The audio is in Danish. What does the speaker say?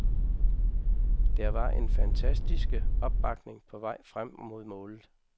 Der var en fantastiske opbakning på vej frem mod målet.